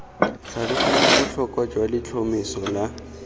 tlhaloganya botlhokwa jwa letlhomeso la